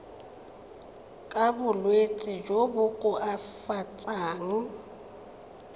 ka bolwetsi jo bo koafatsang